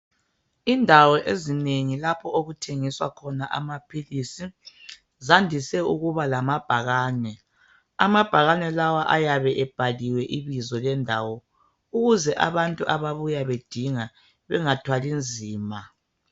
Indawo ezinengi lapho okuthengiswa khona amaphilisi zandise ukuba lamabhakane, amabhakane lawa ayabe ebhaliwe ibizo lendawo ukuze abantu ababuya bedinga bengathwali nzima.